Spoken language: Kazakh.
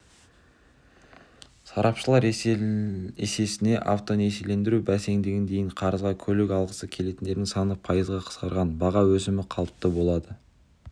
сарапшылар есесіне автонесиелендіру бәсеңдеген дейді қарызға көлік алғысы келетіндердің саны пайызға қысқарған баға өсімі қалыпты болады